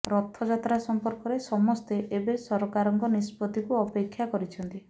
ରଥଯାତ୍ରା ସମ୍ପର୍କରେ ସମସ୍ତେ ଏବେ ସରକାରଙ୍କ ନିଷ୍ପତ୍ତିକୁ ଅପେକ୍ଷା କରିଛନ୍ତି